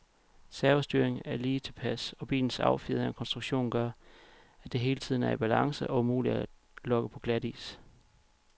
Servostyringen er lige tilpas, og bilens affjedring og konstruktion gør, at den hele tiden er i balance og umulig at lokke på glatis.